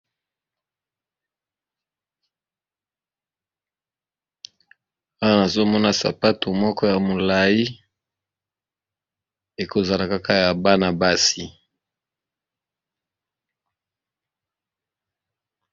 Awa nazomona sapato moko ya molai ekozala kaka ya bana basi